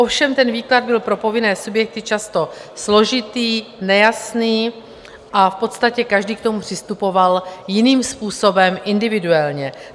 Ovšem ten výklad byl pro povinné subjekty často složitý, nejasný a v podstatě každý k tomu přistupoval jiným způsobem, individuálně.